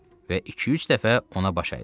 Və iki-üç dəfə ona baş əydim.